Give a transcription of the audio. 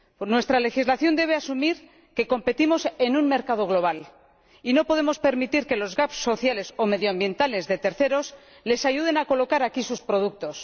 Nuestra legislación debe asumir que competimos en un mercado global y no podemos permitir que los gaps sociales o medioambientales de terceros les ayuden a colocar aquí sus productos.